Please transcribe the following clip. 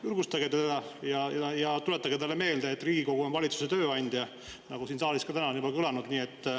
Julgustage teda ja tuletage talle meelde, et Riigikogu on valitsuse tööandja, nagu siin täna juba kõlanud on.